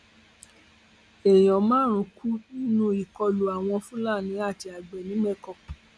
èèyàn márùnún kú nínú ìkọlù àwọn fúlàní àti àgbẹ nìmẹkọ